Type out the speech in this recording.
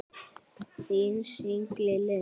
Þín Signý Lind.